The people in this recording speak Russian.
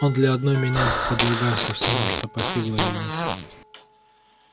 он для одной меня подвергался всему что постигло его